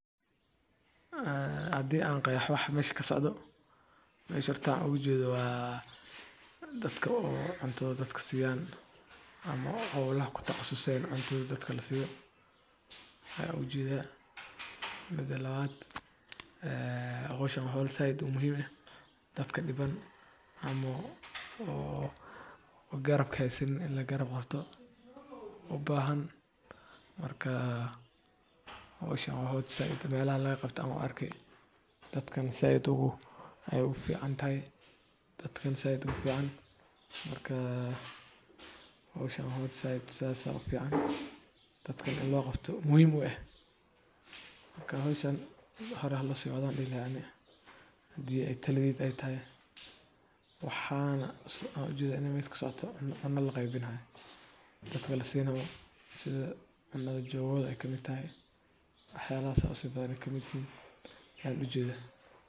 Ee hadii aan qeexo wax meesha ka socdo mesha hortaa waxa oga jeeda waa dadka oo cuntada dadka siiyaan ama hawlaha ku takhasuseen cuntada dadka la siyo waxaa u jeedaa ,mida labaad ee howshan hool sait u muhiim ah dadka dhiban ama oo garabka hasanin in la garab qabto u baahan markaa hawshan wa howl sait dabeellaha laga qabto ama arkay dadkan sait ay u fiicantahay. marka howshan wa howl sait u fican dadka neh in loo qabto muhim u eh.marka howshan hore ha loo siwaddo aya dihi laha ani hadi ay taladeyda eey tahay, waxana ujeda inay meesha kasocoto in cuno la qeybinayo dadka lasinayo sida cunada jogada ka mit tahay waxa yalahas sas usi badan kamit yihin aya ujeda.